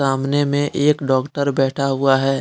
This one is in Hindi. सामने मे एक डॉक्टर बैठा हुआ है।